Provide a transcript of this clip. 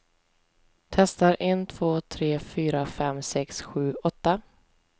Testar en två tre fyra fem sex sju åtta.